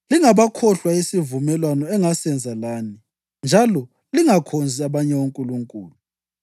Lingakhohlwa isivumelwano engasenza lani, njalo lingakhonzi abanye onkulunkulu.